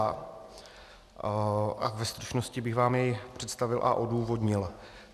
A ve stručnosti bych vám jej představil a odůvodnil.